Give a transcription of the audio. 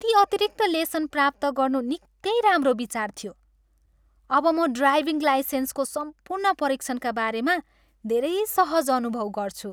ती अतिरिक्त लेसन प्राप्त गर्नु निकै राम्रो विचार थियो! अब म ड्राइभिङ लाइसेन्सको सम्पूर्ण परीक्षणका बारेमा धेरै सहज अनुभव गर्छु।